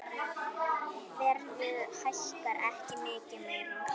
Verðið hækkar ekki mikið meira.